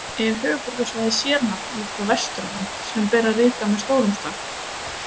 Er höfuðborgarsvæðið sérnafn líkt og Vesturland, sem ber að rita með stórum staf?